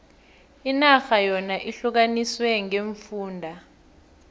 inarha yona ihlukaniswe ngeemfunda